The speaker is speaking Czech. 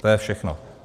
To je všechno.